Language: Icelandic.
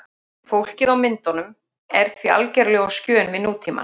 Fólkið á myndunum er því algerlega á skjön við nútímann.